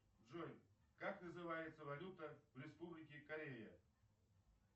джой как называется валюта в республике корея